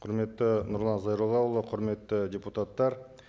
құрметті нұрлан зайроллаұлы құрметті депутаттар